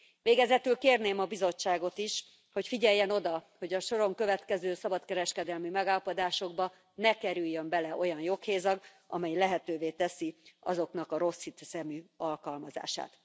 Végezetül kérném a Bizottságot is, hogy figyeljen oda, hogy a soron következő szabadkereskedelmi megállapodásokba ne kerüljön bele olyan joghézag, amely lehetővé teszi azoknak a rosszhiszemű alkalmazását.